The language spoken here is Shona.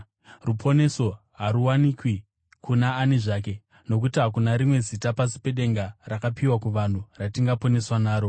Ruponeso haruwanikwi kuna ani zvake, nokuti hakuna rimwe zita pasi pedenga rakapiwa kuvanhu ratingaponeswa naro.”